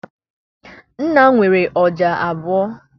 Nnanna nwere ọja abụọ.